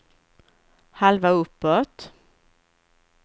halva uppåt